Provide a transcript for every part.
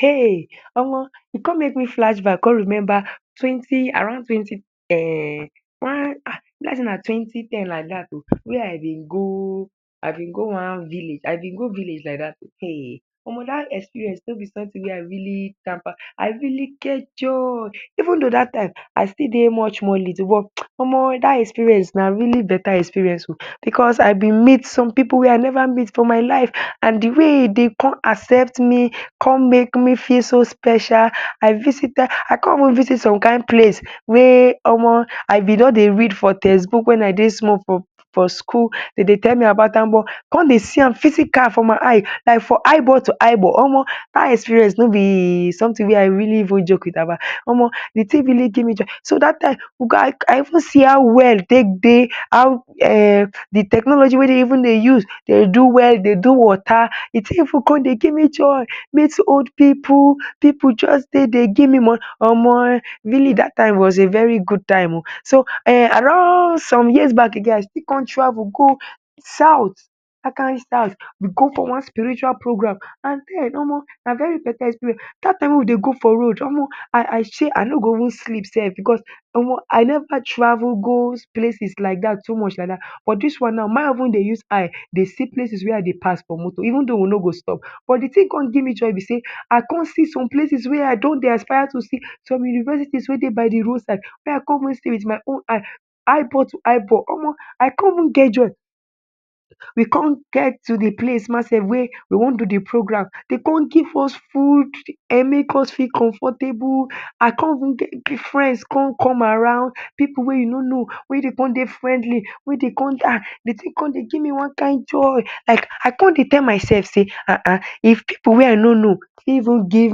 Hey Omo u con make me flash back con remember around twenty um e b like sey na twenty ten oh wey I bin go, I bin go one village, I bin gi village like dat o um dat experience no b something wey I really I really get joy even tho dat time I stil dey much little but Omo dat experience na really beta experience oh, because I bin meet some pipu wey I never meet for my life, and de way dem con accept me con make me feel so special as visitor, I ci visit some kind place wey Omo I bin don dey read for textbook wen I dey small for school dem dey tell me about am oh, I con dey see am physical for my eye like for eye ball to eye ball Omo, dat experience no b something wey I really joke about, Omo de thing really give me joy so, dat time I even see how well take dey how d um technology wey dem dey use dey do well dey do water, d thing cin dey give me joy, meet old pipu, pipu jus dey dey give me money Omo, really dat time was a very good time, so around some years back again I still con travel go south, dat kind side we go for one spiritual program, Omo na very better experience, dat time wey we dey go for road Omo I say I no go even sleep sef because Omo I no travel go places like dat, too much like dat, but dis one na make I use eye dey see places wey I dey pass for motor even tho we no go stop, but d thing con give me joy b dey I con see some places wey I don dey aspire to see, some universities wey dey by de road side wey I con see with my own eye, eyeball to eyeball, I cin even get Joey we con get to de place ma self wey we wan do de program dem con give us food and make us feel comfortable I con even get friends con come around, pipu wey u no no wey dem con dey friendly wey dem con dey um de thing con dey give me one kind joy like, I con dey tell myself sey, Hahn if pipu wey I no no fit give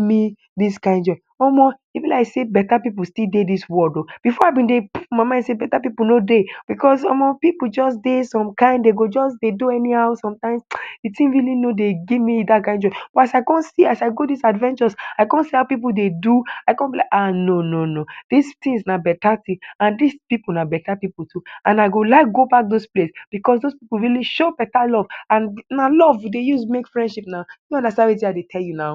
me dis kind joy Omo e b like dey better pipu still dey dis world oh, before I bin dey put my mai d sey better pipu no dey because Omo pipu just dey some kind dem gi jus dey do anyhow sometimes, de thing no dey really give me some kind joy, as I go see as I go dis adventure, I con see how pipu dey do, I don b like ahh no no no, dis things na better thing and dis pipu na better pipu too and I go like go back those place because those pipu really show better love and na love we dey use make friendship naw, I no understand Wetin I dey tell you naw.